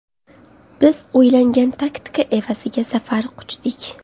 Biz o‘ylangan taktika evaziga zafar quchdik.